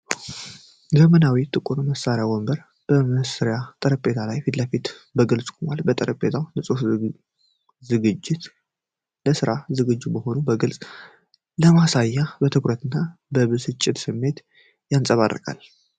ዘመናዊው ጥቁር መሥሪያ ወንበር ከመስሪያ ጠረጴዛው ፊት ለፊት በግልጽ ቆሟል። የጠረጴዛው ንጽሕናና ዝግጅት፣ ለሥራ ዝግጁ መሆኑን በግልጽ በማሳየት፣ የትኩረት እና የብስጭት ስሜትን ያንጸባርቃል።